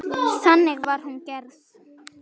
Þannig var hún gerð.